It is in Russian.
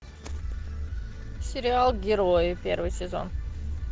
сериал герои первый сезон